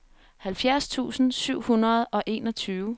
halvfjerds tusind syv hundrede og enogtyve